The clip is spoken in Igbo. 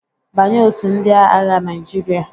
Banye otu ndị aagha Naịjirịa?